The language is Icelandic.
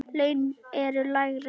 Laun eru lægri.